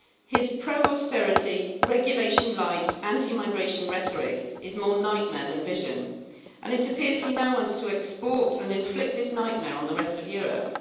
His pro-austerity, regulation-light, anti-migration rhetoric is more nightmare than vision and it appears he now wants to export and inflict this nightmare on the rest of Europe.